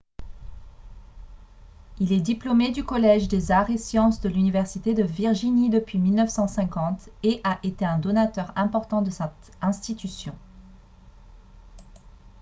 il est diplômé du collège des arts et sciences de l'université de virginie depuis 1950 et a été un donateur important de cette institution